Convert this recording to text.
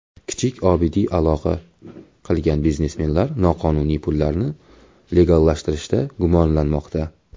Kichik Obidiy aloqa qilgan biznesmenlar noqonuniy pullarni legallashtirishda gumonlanmoqda.